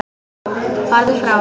Farðu frá!